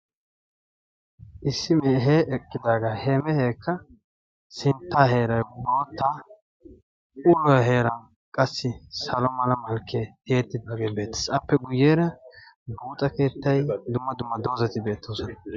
issi mehe eqqidaaga he mehekke sintta heeray boottaa uluwaa heeray salo mala malkkiyaa tiyeetidaaga beettees; appe guyyeera buuxxa keettay dumma dumma doozati beettoosona.